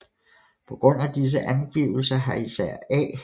På grund af disse angivelser har især A